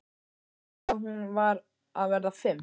una, hún var að verða fimm.